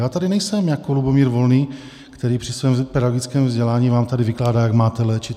Já tady nejsem jako Lubomír Volný, který při svém pedagogickém vzdělání vám tady vykládá, jak máte léčit.